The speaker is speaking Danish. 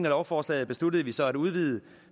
lovforslaget besluttede vi så at udvide